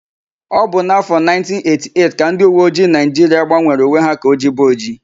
Ọ bụ n'áfọ̀ 1988 ka ndịuweojii Naịjiria gbanwere uwe ha ka ojibe ojii.